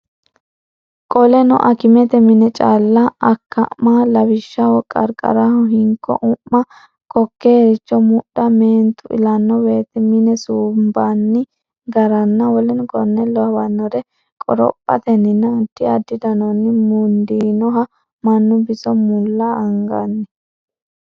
Qoleno akimete mine calla akka ma lawishshaho qarqaraho hinko u ma kokkeericho mudha meentu ilanno woyte mine suumbanni garanna w k l qorophatenninna addi addi danonni mundiinoha mannu biso mulla anganni.